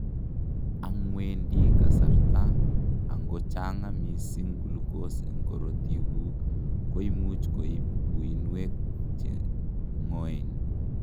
angwendi kasarta, angochanga missing glucose en karotikguk koimuch koib uinwek cheng'oen